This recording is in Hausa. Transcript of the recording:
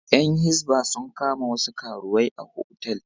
Ƴan hisba sun kama wasu karuwai a otal.